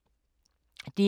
DR K